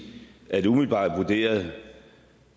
at umiddelbart vurderet